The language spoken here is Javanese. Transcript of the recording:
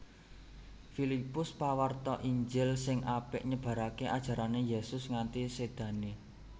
Filipus pawarta Injil sing apik nyebaraké ajarané Yésus nganti sédané